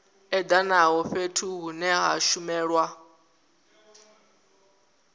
edanaho fhethu hune ha shumelwa